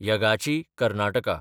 यगाची (Karnataka)